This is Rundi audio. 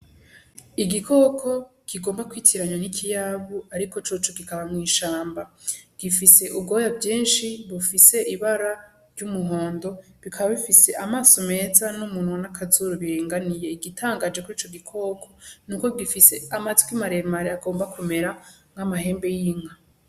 Igikoko kigomba kwitiranywa n'ikiyabu ariko coco kikaba mw'ishamba, gifise ubwoya bwinshi bufise ibara ry'umuhondo bikaba bifise amaso meza n'umunwa n'akazuru biringaniye igitangaje kurico gikoko nuko gifise amatwi maremare agomba kumera nk'amahembe y'inka.